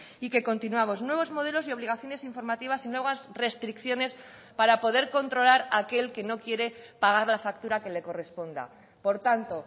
y que continuamos nuevos modelos y obligaciones informativas y nuevas restricciones para poder controlar a aquel que no quiere pagar la factura que le corresponda por tanto